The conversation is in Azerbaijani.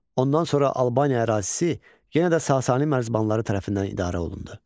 Ondan sonra Albaniya ərazisi yenə də Sasani mərzbanları tərəfindən idarə olundu.